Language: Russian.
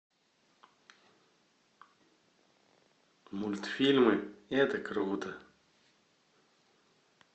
мультфильмы это круто